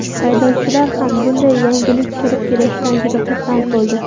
Haydovchilar ham bunday yangilik kirib kelishidan juda xursand bo‘ldi.